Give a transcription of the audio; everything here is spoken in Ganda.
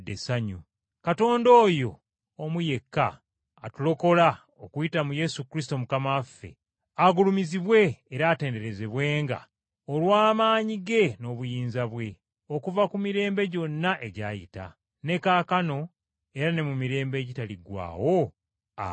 Katonda oyo omu yekka atulokola okuyita mu Yesu Kristo Mukama waffe, agulumizibwe era atenderezebwenga olw’amaanyi ge n’obuyinza bwe, okuva ku mirembe gyonna egyayita, ne kaakano era ne mu mirembe egitaliggwaawo! Amiina.